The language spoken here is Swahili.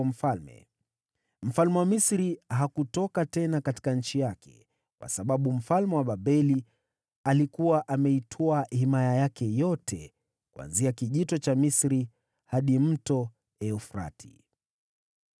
Mfalme wa Misri hakutoka tena katika nchi yake, kwa sababu mfalme wa Babeli alikuwa ameitwaa himaya yake yote, kuanzia Kijito cha Misri hadi Mto Frati.